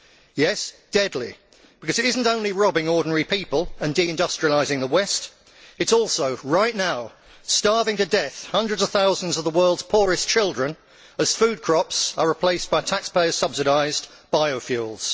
Yes, deadly, because it is not only robbing ordinary people and de industrialising the West it is also right now starving to death hundreds of thousands of the world's poorest children as food crops are replaced by taxpayer subsidised biofuels.